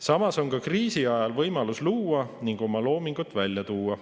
Samas on ka kriisiajal võimalus luua ning oma loomingut välja panna.